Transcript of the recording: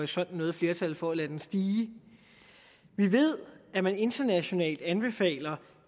sig noget flertal for at lade den stige vi ved at man internationalt anbefaler